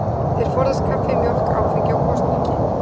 Þeir forðast kaffi, mjólk, áfengi og gosdrykki.